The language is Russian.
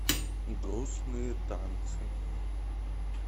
грустные танцы